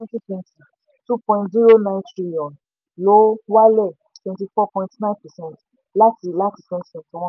twenty twenty two point zero nine trillion lo wálẹ̀ twenty four point nine percent láti láti twenty twenty one